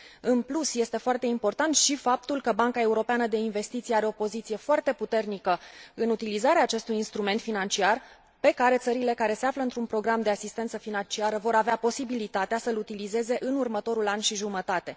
În plus, este foarte important și faptul că Banca Europeană de Investiții are o poziție foarte puternică în utilizarea acestui instrument financiar, pe care țările care se află într un program de asistență financiară vor avea posibilitatea să îl utilizeze în următorul an și jumătate.